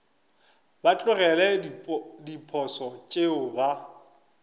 ba tlogele diposo tšeo ba